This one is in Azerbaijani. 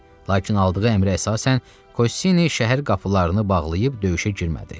Lakin aldığı əmrə əsasən, Kossini şəhər qapılarını bağlayıb döyüşə girmədi.